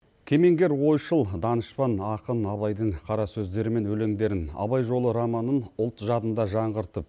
кемеңгер ойшыл данышпан ақын абайдың қара сөздері мен өлеңдерін абай жолы романын ұлт жадында жаңғыртып